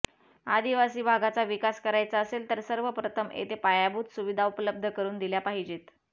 आदिवासी भागाचा विकास करायचा असेल तर सर्वप्रथम तेथे पायाभूत सुविधा उपलब्ध करून दिल्या पाहिजेत